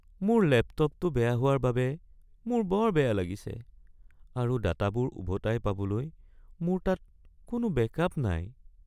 মোৰ লেপটপটো বেয়া হোৱাৰ বাবে মোৰ বৰ বেয়া লাগিছে আৰু ডাটাবোৰ উভতাই পাবলৈ মোৰ তাত কোনো বেকআপ নাই।